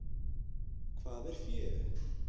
Hvað er fé?